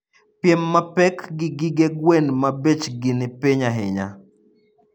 Piem mapek gi gige gwen ma bech gi ni piny ahinya.